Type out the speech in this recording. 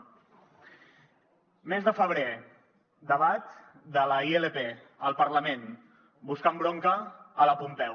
mes de febrer debat de la ilp al parlament buscant bronca a la pompeu